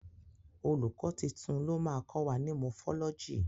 Olùkọ́ titun ló máa kọ wa ní Mọfọ́lọ́jì.